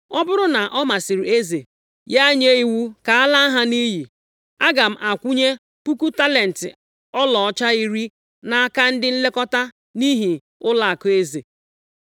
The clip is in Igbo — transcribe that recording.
Ọ bụrụ na ọ masịrị eze, ya nye iwu ka a laa ha nʼiyi, aga m akwụnye puku talenti ọlaọcha iri nʼaka ndị nlekọta nʼihi ụlọakụ eze.”